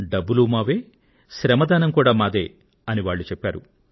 డబ్బులు మావే శ్రమదానం కూడా మాదే అని చెప్పారు